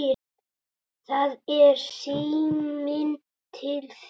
Það er síminn til þín.